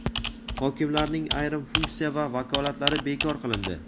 Hokimlarning ayrim funksiya va vakolatlari bekor qilindi.